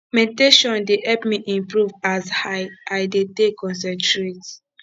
meditation dey help me improve as i i dey take concentrate